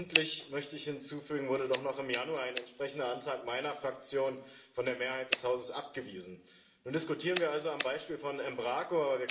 Endlich, möchte ich hinzufügen, wurde doch noch im Januar ein entsprechender Antrag meiner Fraktion von der Mehrheit des Hauses abgewiesen. Nun diskutieren wir also am Beispiel von Embraco.